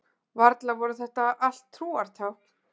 Varla voru þetta allt trúartákn?